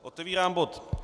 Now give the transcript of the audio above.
Otevírám bod